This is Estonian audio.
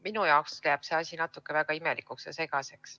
Minu jaoks jääb see asi natukene imelikuks ja segaseks.